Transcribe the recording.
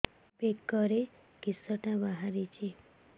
ବେକରେ କିଶଟା ବାହାରିଛି